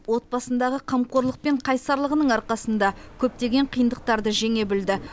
отбасындағы қамқорлық пен қайсарлығының арқасында көптеген қиындықтарды жеңе білді